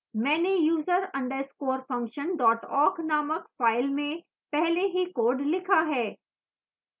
मैंने user _ function awk named file में पहले ही code लिखा है